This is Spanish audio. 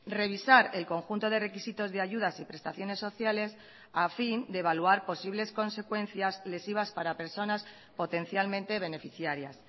revisar el conjunto de requisitos de ayudas y prestaciones sociales a fin de evaluar posibles consecuencias lesivas para personas potencialmente beneficiarias